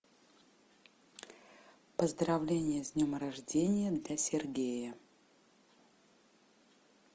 поздравление с днем рождения для сергея